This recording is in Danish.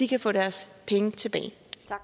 kan få deres penge tilbage